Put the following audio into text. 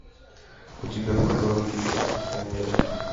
у тебя в каталоге есть воспитание риты